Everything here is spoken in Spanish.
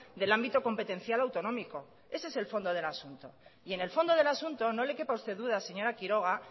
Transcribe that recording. del ámbito competencial autonómico ese es el fondo del asunto y en el fondo del asunto no le quepa a usted duda señora quiroga